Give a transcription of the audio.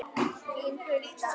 Þín Hulda.